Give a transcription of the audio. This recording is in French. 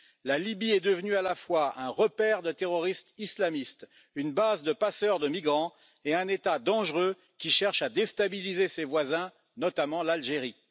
La Libye est devenue à la fois un repère de terroristes islamistes, une base de passeurs de migrants et un État dangereux, qui cherche à déstabiliser ses voisins, notamment l'Algérie.